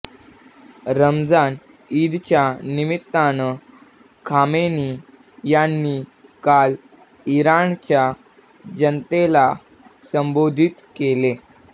रमझान ईदच्या निमित्तानं खामेनी यांनी काल इराणच्या जनतेला संबोधित केले